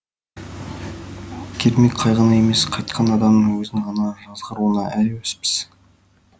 кермек қайғыны емес қайтқан адамның өзін ғана жазғыруға әуеспіз